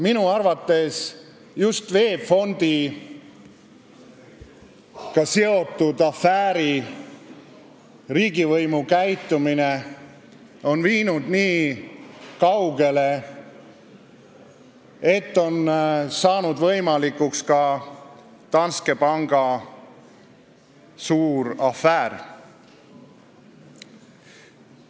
Minu arvates on riigivõimu käitumine just VEB Fondiga seotud afääri puhul viinud nii kaugele, et on saanud võimalikuks ka Danske panga suur afäär.